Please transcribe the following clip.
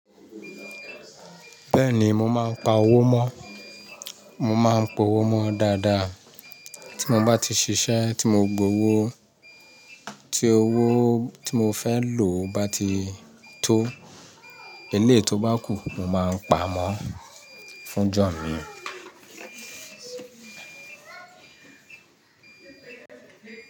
Bẹ́ẹ̀ni, mo máa ń pa owó mọ́. Mo máa ń po owó mọ́ dáadáa. Tí mo bá ti ṣiṣẹ́, tí mo gbowó, tí owó tí mo fẹ́ lò bá ti tó, elé tó bá kù, mo máa ń pa mọ́ fún jọ̀ọ́ mi.